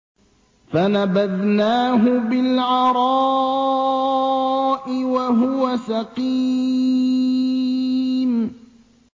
۞ فَنَبَذْنَاهُ بِالْعَرَاءِ وَهُوَ سَقِيمٌ